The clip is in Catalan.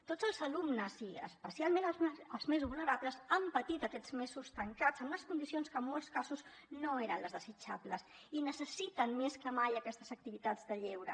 tots els alumnes i especialment els més vulnerables han patit aquests mesos tancats en unes condicions que en molts casos no eren les desitjables i necessiten més que mai aquestes activitats de lleure